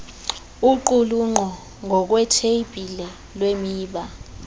uqulunqo ngokwetheyibhile lwemiba